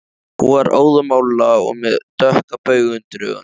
Hún var óðamála og með dökka bauga undir augunum